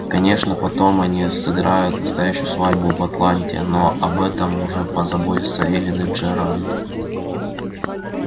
конечно потом они сыграют настоящую свадьбу в атланте но об этом уже позаботятся эллин и джеральд